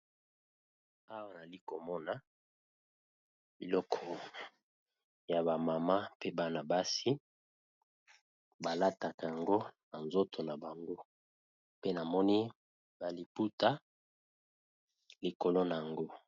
Awa nayali komona biloko ya ba mama pe bana basi balataka yango na nzoto na bango, pe namoni ba liputa likolo na yango.